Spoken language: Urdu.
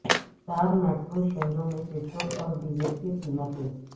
چار میٹرو شہروں میں پٹرول اور ڈیزل کی قیمتیں